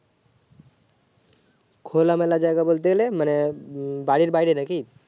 খোলা মেলা জায়গা বলতে গেলে মানে বাড়ির বাইরে নাকি